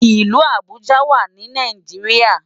Ilù Abuja wá ni Náijiriá